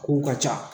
Kow ka ca